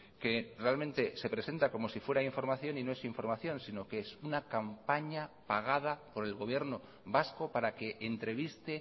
que realmente se presenta como si fuera información y no es información sino que es una campaña pagada por el gobierno vasco para que entreviste